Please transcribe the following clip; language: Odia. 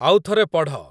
ଆଉଥରେ ପଢ଼